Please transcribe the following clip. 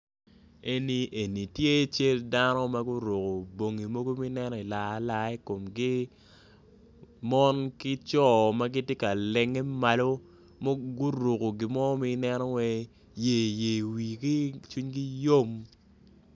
Eni tye cal dano ma guruko bongi mogo ma ineno waci laa laa ikomgi monki coo magitye ka lenge malo ma guruko gi mo ma ineno waci yer yer i wigi cwinygi yom.